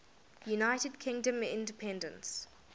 united kingdom independence